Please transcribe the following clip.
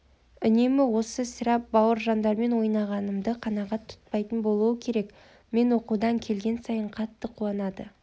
үнемі осы сірә бауыржандармен ойнағанды қанағат тұтпайтын болуы керек мен оқудан келген сайын қатты қуанады